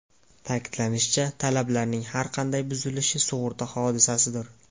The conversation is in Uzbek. Ta’kidlanishicha, talablarning har qanday buzilishi sug‘urta hodisasidir.